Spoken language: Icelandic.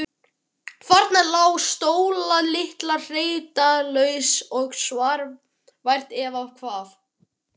Þarna lá Sóla litla hreyfingarlaus og svaf vært. eða hvað?